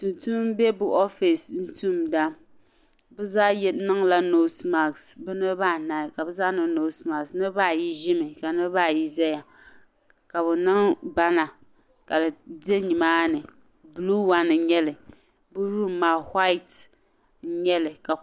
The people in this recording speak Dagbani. Tun tuum bi be bi ofiisi tumda bi zaa niŋla "nose mask" niriba ayi Ʒim ka niriba ayi zaya ka bi niŋ bana ka di be nimaani "blue one" n nyɛli bi room maa "white" n nyeli.